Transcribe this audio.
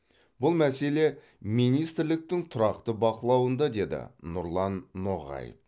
бұл мәселе министрліктің тұрақты бақылауында деді нұрлан ноғаев